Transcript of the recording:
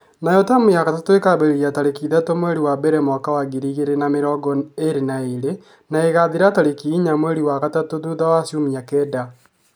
Nayo taamu ya gatatũ ĩkambĩrĩria tarĩki ithatũ, mweri wa mbere mwaka wa ngiri igĩrĩ na mĩrongo ĩrĩ na igĩrĩ, na ĩkathira tarĩki inya mweri wa gatatũ thutha wa ciumia kenda.